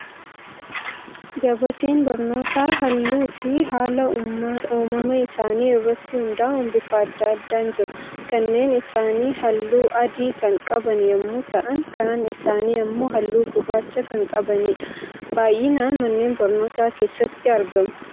Gabateen barnootaa halluu fi haala uumama isaanii irratti hundaa'uun bifa addaa addaan jiru. Kanneen isaanii halluu adii kan qaban yemmuu ta'an, kaan isaanii immoo halluu gurraacha kan qabanidha. Baayyinaan manneen barnootaa keessatti argamu.